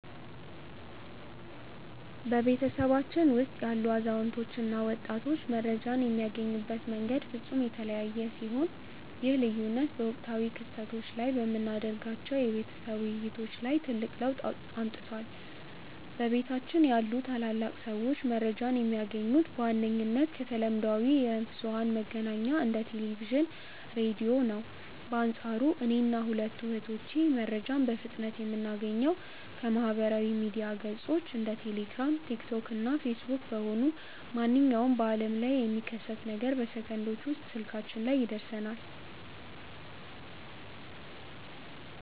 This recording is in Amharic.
በቤተሰባችን ውስጥ ያሉ አዛውንት እና ወጣቶች መረጃን የሚያገኙበት መንገድ ፍጹም የተለያየ ሲሆን፣ ይህ ልዩነት በወቅታዊ ክስተቶች ላይ በምናደርጋቸው የቤተሰብ ውይይቶች ላይ ትልቅ ለውጥ አምጥቷል። በቤታችን ያሉ ታላላቅ ሰዎች መረጃን የሚያገኙት በዋነኝነት ከተለምዷዊ የብዙኃን መገናኛዎች እንደ ቴሌቪዥን፣ ራዲዮ ነው። በአንፃሩ እኔና ሁለቱ እህቶቼ መረጃን በፍጥነት የምናገኘው ከማኅበራዊ ሚዲያ ገጾች (እንደ ቴሌግራም፣ ቲክቶክ እና ፌስቡክ) በመሆኑ፣ ማንኛውም በዓለም ላይ የሚከሰት ነገር በሰከንዶች ውስጥ ስልካችን ላይ ይደርሰናል።